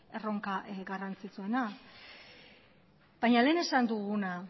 erronka garrantzitsuena baina lehen esan duguna